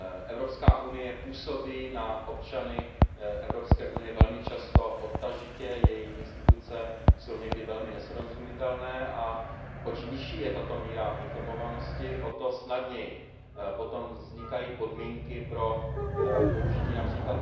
Evropská unie působí na občany Evropské unie velmi často odtažitě, její instituce jsou velmi nesrozumitelné a oč nižší je tato míra informovanosti, o to snadněji potom vznikají podmínky pro použití např.